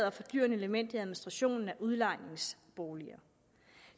og fordyrende element i administrationen af udlejningsboliger